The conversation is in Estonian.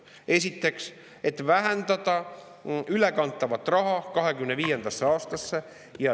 Esiteks, et vähendada 2025. aastasse ülekantavat raha.